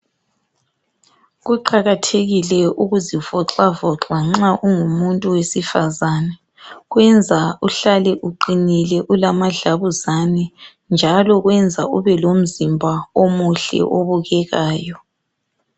Kuqakathekile ukuzivoxa voxa nxa ungumuntu wesifazane kwenza uhlale uqinile ulamadlabuzane njalo kwenza ube lomzimba omuhle obukekayo.